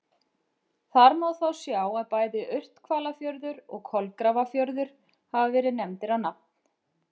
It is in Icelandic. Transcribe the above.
Þar má þó sjá að bæði Urthvalafjörður og Kolgrafafjörður hafa verið nefndir á nafn.